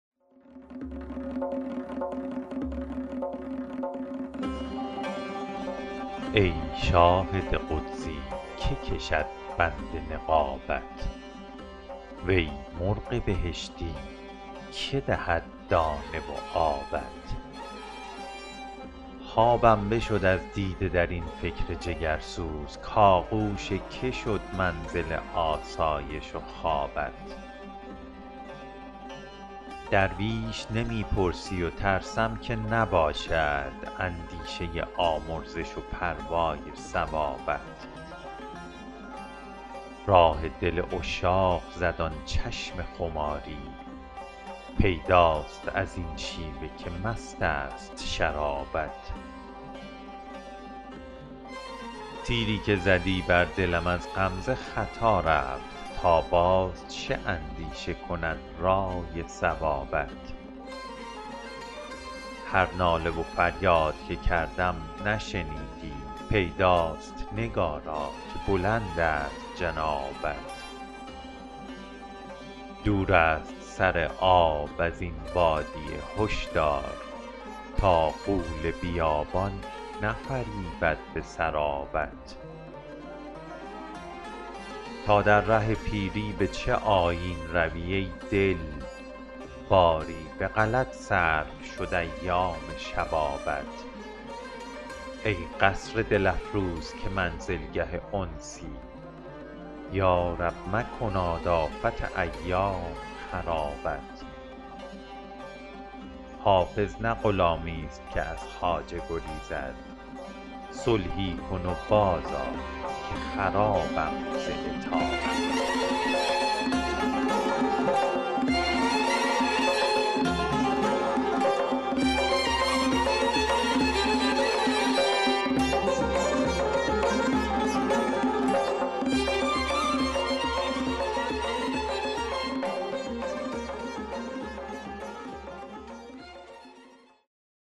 ای شاهد قدسی که کشد بند نقابت وی مرغ بهشتی که دهد دانه و آبت خوابم بشد از دیده در این فکر جگرسوز کآغوش که شد منزل آسایش و خوابت درویش نمی پرسی و ترسم که نباشد اندیشه آمرزش و پروای ثوابت راه دل عشاق زد آن چشم خماری پیداست از این شیوه که مست است شرابت تیری که زدی بر دلم از غمزه خطا رفت تا باز چه اندیشه کند رأی صوابت هر ناله و فریاد که کردم نشنیدی پیداست نگارا که بلند است جنابت دور است سر آب از این بادیه هشدار تا غول بیابان نفریبد به سرابت تا در ره پیری به چه آیین روی ای دل باری به غلط صرف شد ایام شبابت ای قصر دل افروز که منزلگه انسی یا رب مکناد آفت ایام خرابت حافظ نه غلامیست که از خواجه گریزد صلحی کن و بازآ که خرابم ز عتابت